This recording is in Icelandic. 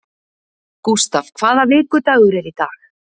Gustav, hvaða vikudagur er í dag?